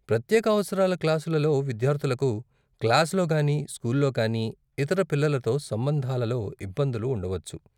ప్రత్యేక అవసరాల క్లాసులలో విద్యార్ధులకు క్లాసులో కానీ స్కూల్లో కానీ ఇతర పిల్లలతో సంబంధాలలో ఇబ్బందులు ఉండవచ్చు.